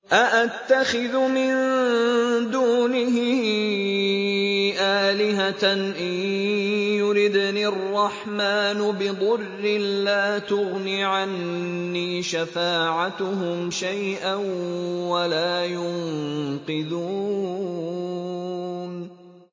أَأَتَّخِذُ مِن دُونِهِ آلِهَةً إِن يُرِدْنِ الرَّحْمَٰنُ بِضُرٍّ لَّا تُغْنِ عَنِّي شَفَاعَتُهُمْ شَيْئًا وَلَا يُنقِذُونِ